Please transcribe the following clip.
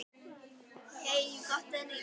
Keyri ég hratt?